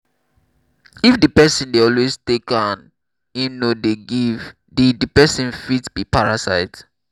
if di person dey always take and im no dey give di di person fit be parasite